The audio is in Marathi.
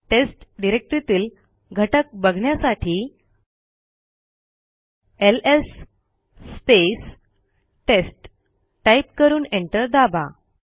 टेस्ट डिरेक्टरीतील घटक बघण्यासाठी एलएस टेस्ट टाईप करून एंटर दाबा